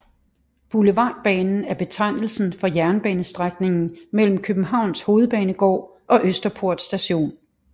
Boulevardbanen er betegnelsen for jernbanestrækningen mellem Københavns Hovedbanegård og Østerport Station